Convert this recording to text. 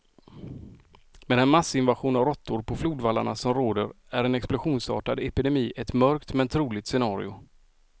Med den massinvasion av råttor på flodvallarna som råder är en explosionsartad epidemi ett mörkt, men troligt scenario.